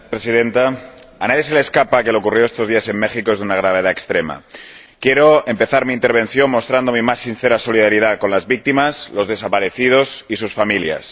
Señora Presidenta, a nadie se le escapa que lo ocurrido estos días en México es de una gravedad extrema. Quiero empezar mi intervención mostrando mi más sincera solidaridad con las víctimas, los desaparecidos y sus familias.